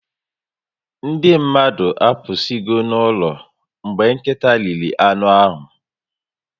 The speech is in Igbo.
Ndị mmadụ apụsigo n'ụlọ mgbe nkịta riri anụ ahụ